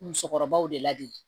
Musokɔrɔbaw de lade